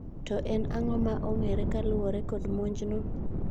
To en ang'o ma ong'eere kaluore kod monj no?